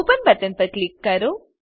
open button પર click કરો